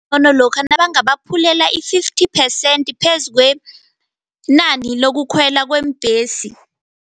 Lokha nabangabaphulela i-fifty percent phezu kwenani lokukhwela kweembhesi.